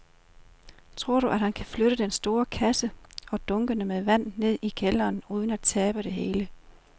Tror du, at han kan flytte den store kasse og dunkene med vand ned i kælderen uden at tabe det hele?